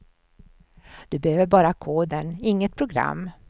Du behöver bara koden, inget program.